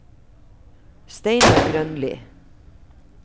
Steinar Grønli